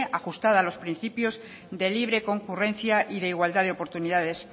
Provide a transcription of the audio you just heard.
ajustada a los principios de libre concurrencia y de igualdad de oportunidades